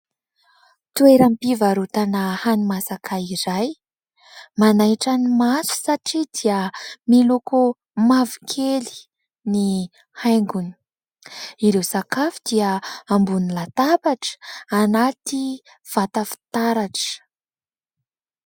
Toeram-pivarotana hani-masaka iray manaitra ny maso satria dia miloko mavokely ny haingony. Ireo sakafo dia ambony latabatra anaty vata fitaratra.